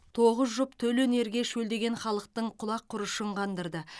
тоғыз жұп төл өнерге шөлдеген халықтың құлақ құрышын қандырды